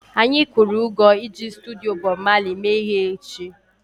Anyị kwụrụ ụgwọ iji studio Bob Marley mee ihe echi